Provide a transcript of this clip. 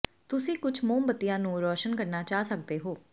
ਤੁਸੀਂ ਕੁਝ ਮੋਮਬੱਤੀਆਂ ਨੂੰ ਰੋਸ਼ਨ ਕਰਨਾ ਚਾਹ ਸਕਦੇ ਹੋ